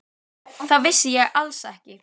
Það vissi ég alls ekki.